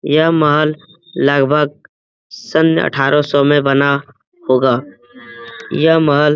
यह महल लगभग सन् अठारह सौ में बना होगा यह महल --